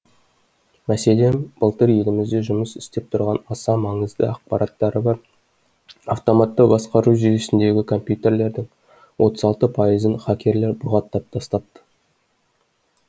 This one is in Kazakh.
мәселен былтыр елімізде жұмыс істеп тұрған аса маңызды ақпараттары бар автоматты басқару жүйесіндегі компьютерлердің отыз алты пайызын хакерлер бұғаттап тастапты